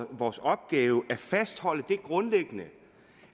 vores opgave at fastholde det grundlæggende